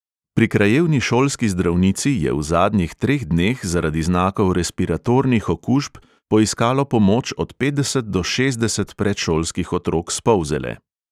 Pri krajevni šolski zdravnici je v zadnjih treh dneh zaradi znakov respiratornih okužb poiskalo pomoč od petdeset do šestdeset predšolskih otrok s polzele.